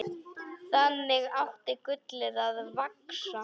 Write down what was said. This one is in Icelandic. Þannig átti gullið að vaxa.